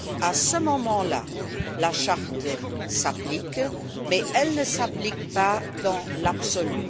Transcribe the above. À ce moment là, la Charte s'applique, mais elle ne s'applique pas dans l'absolu.